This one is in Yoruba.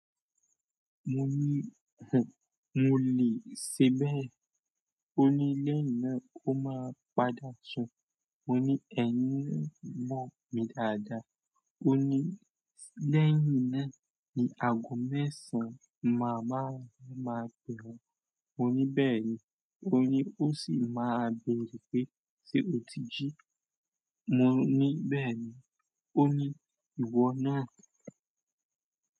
Mo ní, "hùn, mo lè ṣe bẹ́ẹ̀." ó ní lẹ́yìn náà ó máa padà sùn. Mo ní, "Ẹ̀yin lè mọ̀ mi dáadáa." Ó ní lẹ́yìn náà ni ago mẹ́sàn máa máa máa bẹ̀ wọ́n. Mo ní bẹ́ẹ̀ ni. Ó ní ó sì máa béèrè pé, "Ṣé o ti jí?" Mo ní bẹ́ẹ̀ ni. Ó ní ìwọ náà.